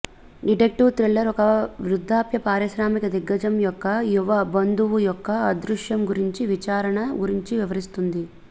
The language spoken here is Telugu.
డిటెక్టివ్ థ్రిల్లర్ ఒక వృద్ధాప్య పారిశ్రామిక దిగ్గజం యొక్క యువ బంధువు యొక్క అదృశ్యం గురించి విచారణ గురించి వివరిస్తుంది